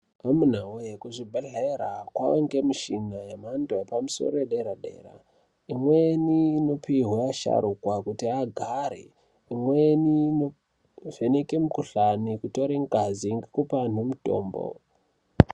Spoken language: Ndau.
Amuna voye kuzvibhedhleya kovanikwa muchina yemhando yepamusoro yedera-dera. Imweni inopihwa asharuka kuti agare. Imweni inovheneka mikuhlani kutore ngazi ngekupa antu mutombo.